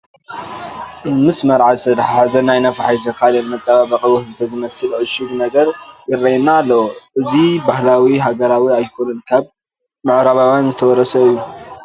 ምስ መርዓ ዝተተሓሓዘ ናይ ነፋሒቶን ካልእን መፀባበቒ፣ ውህብቶ ዝመስል ዕሹግ ነገርን ይርአየና ኣሎ፡፡ እዚ ባህሊ ሃገራዊ ኣይኮነን፤ ካብ ምዕራባውያን ዝተወረሰ እዩ፡፡